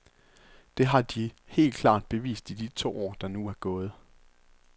Det har de helt klart bevist i de to år, der nu er gået.